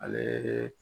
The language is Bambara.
Ale